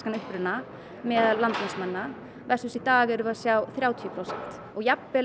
uppruna meðal landnámsmanna versus í dag þá erum við að sjá þrjátíu prósent og jafnvel